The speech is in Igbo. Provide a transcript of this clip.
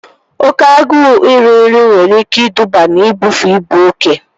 Oké agụụ iri nri nwere ike iduba na ibufe ibu oke